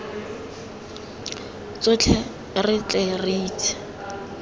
tsotlhe re tle re intshe